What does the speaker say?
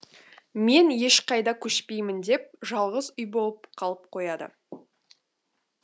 мен ешқайда көшпеймін деп жалғыз үй болып қалып қояды